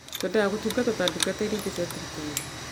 Twendaga gũtungatwo ta ndungata iria ingĩ cia thirikari.